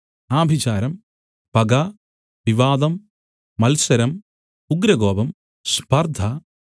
ആഭിചാരം പക വിവാദം മത്സരം ഉഗ്രകോപം സ്പർദ്ധ